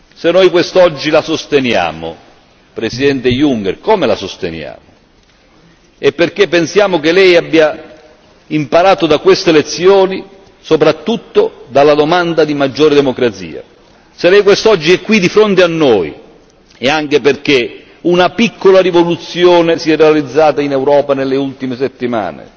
Se noi quest'oggi la sosteniamo, Presidente Juncker, come la sosteniamo? È perché pensiamo che Lei abbia imparato da queste lezioni, soprattutto dalla domanda di maggiore democrazia. Se Lei quest'oggi è qui di fronte a noi è anche perché una piccola rivoluzione si è realizzata in Europa nelle ultime settimane.